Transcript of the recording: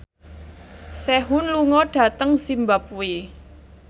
Sehun lunga dhateng zimbabwe